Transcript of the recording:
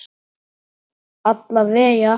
Alla vega.